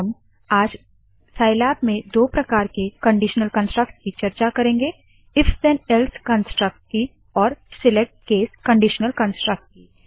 हम साइलैब में दो प्रकार के कनडीशनल कनस्ट्रक्ट्स की चर्चा करेंगे if then else if then else construct की और select case select case conditional construct की